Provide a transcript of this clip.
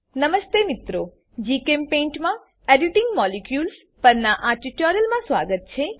નમસ્તે મિત્રો જીચેમ્પેઇન્ટ મા એડિટિંગ મોલિક્યુલ્સ પરનાં આ ટ્યુટોરીયલમાં સ્વાગત છે